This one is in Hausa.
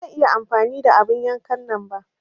Ba zan iya amfani da abun yankan nan ba.